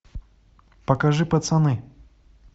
покажи пацаны